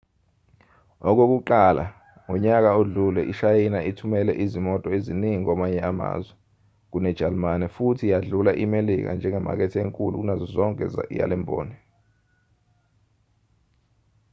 okokuqala ngonyaka odlule ishayina ithumele izimoto eziningi kwamanye amazwe kunejalimane futhi yadlula imelika njengemakethe enkulu kunazo zonke yalemboni